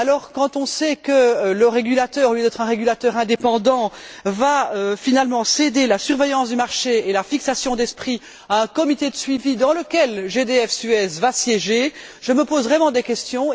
Quand on sait que le régulateur, au lieu d'être un régulateur indépendant, va finalement céder la surveillance du marché et la fixation des prix à un comité de suivi dans lequel GDF Suez va siéger, je me pose vraiment des questions.